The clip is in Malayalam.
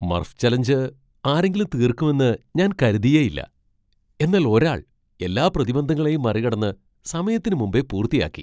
മർഫ് ചലഞ്ച് ആരെങ്കിലും തീർക്കുമെന്ന് ഞാൻ കരുതിയേയില്ല, എന്നാൽ ഒരാൾ എല്ലാ പ്രതിബന്ധങ്ങളെയും മറികടന്ന് സമയത്തിന് മുമ്പേ പൂർത്തിയാക്കി.